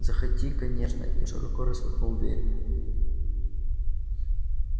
заходи конечно и широко распахнул дверь